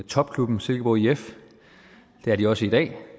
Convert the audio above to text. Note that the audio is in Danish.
topklubben silkeborg if det er de også i dag